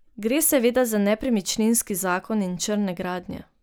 Gre seveda za nepremičninski zakon in črne gradnje.